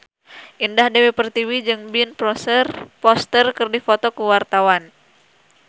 Indah Dewi Pertiwi jeung Ben Foster keur dipoto ku wartawan